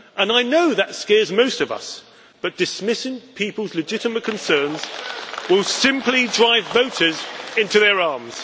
I know that scares most of us, but dismissing people's legitimate concerns will simply drive voters into their arms.